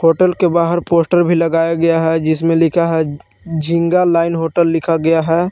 Hotel के बाहर poster लगाया गया है जिसमें लिखा है झिंगा लाइन होटल लिखा गया है।